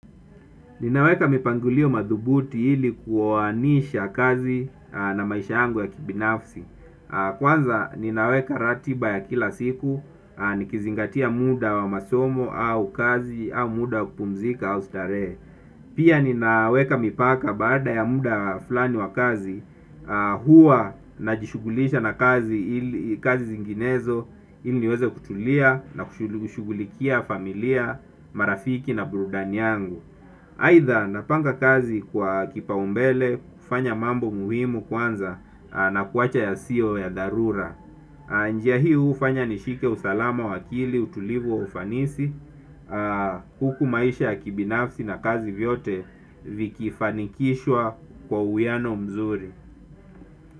Nina weka mipangulio madhubuti ili kuwaanisha kazi na maisha yangu ya kibinafsi. Kwanza, nina weka ratiba ya kila siku, nikizingatia muda wa masomo au kazi au muda kupumzika au starehe. Pia nina weka mipaka, baada ya muda fulani wa kazi, huwa najishugulisha na kazi zinginezo ili niweze kutulia na kushugulikia familia, marafiki na burudani yangu. Haitha, napanga kazi kwa kipaumbele, kufanya mambo muhimu kwanza na kuwacha yasiyo ya dharura. Njia hii ufanya nishike usalama wa akili, utulivu wa ufanisi, huku maisha ya kibinafsi na kazi vyote vikifanikishwa kwa uyano mzuri.